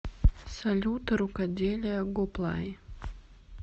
салют рукоделие гоплай